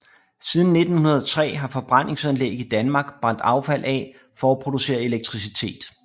Siden 1903 har forbrændingsanlæg i Danmark brændt affald af for at producere elektricitet